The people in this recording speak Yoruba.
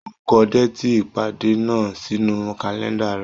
Ó kọ déètì ìpàdé náà sínú kàlẹ́ńdà rẹ̀.